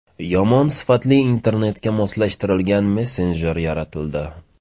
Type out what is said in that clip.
Yomon sifatli internetga moslashtirilgan messenjer yaratildi.